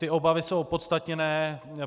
Ty obavy jsou opodstatněné.